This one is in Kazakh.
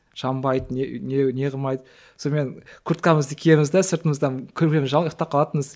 жанбайды не не не қылмайды сонымен курткамызды киеміз де сыртымыздан көрпемізді жамылып ұйқтап қалатынбыз